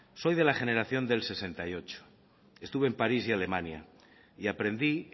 soy de la generación del sesenta y ocho estuve en parís y alemania y aprendí